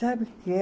Sabe o que é?